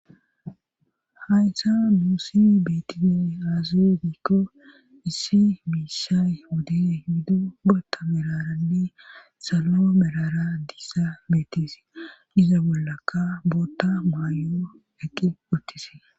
Hhayssa nuussi biitini azugikko issi miissay wode hido bootta meraranne salao melara diissa betisi iza bollakka bootta maayo eqqi uttisi